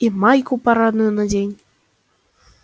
и майку парадную надень